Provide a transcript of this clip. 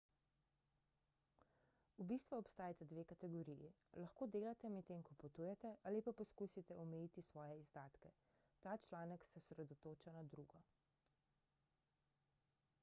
v bistvu obstajata dve kategoriji lahko delate medtem ko potujete ali pa poskusite omejiti svoje izdatke ta članek se osredotoča na drugo